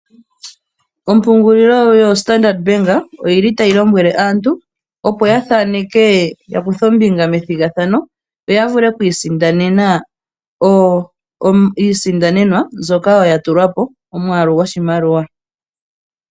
Ompungulilo yo Standard Bank oyili tayi lombwele aantu opo ya thaaneke, ya kuthe ombinga methigathano yo ya vule oku isindanena iisindanenwa mbyoka ya tulwa po omwaalu goshimaliwa.